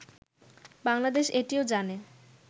বাংলাদেশ এটিও জানে